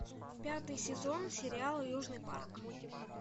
пятый сезон сериал южный парк